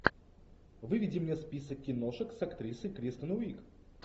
выведи мне список киношек с актрисой кристен уиг